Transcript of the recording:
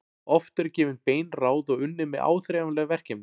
Oft eru gefin bein ráð og unnið með áþreifanleg verkefni.